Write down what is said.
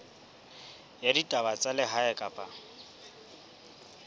ya ditaba tsa lehae kapa